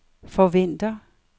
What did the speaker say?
forventer